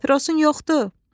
Papirosun yoxdur?